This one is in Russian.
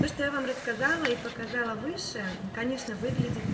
то что я вам рассказала и показала выше конечно выглядит